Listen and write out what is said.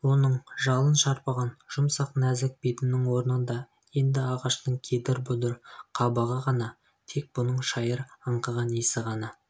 оның жалын шарпыған жұмсақ нәзік бетінің орнында енді ағаштың кедір-бұдыр қабығы ғана тек бұның шайыр аңқыған иісі ғана